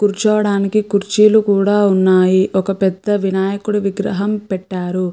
కూర్చోవడానికి కుర్చీలు కూడా ఉన్నాయి ఒక పెద్ద వినాయకుడు విగ్రహం పెట్టారు.